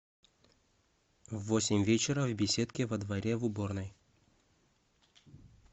в восемь вечера в беседке во дворе в уборной